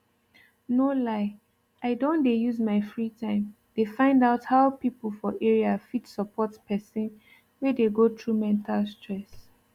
no lie i don dey use my free time dey find out how people for area fit support person wey dey go through mental stress